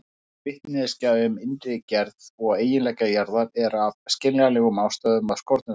Vitneskja um innri gerð og eiginleika jarðar er af skiljanlegum ástæðum af skornum skammti.